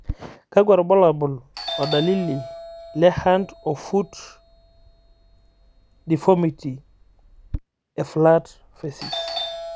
kakwa irbulabol o dalili le Hand o Foot deformity e flat facies?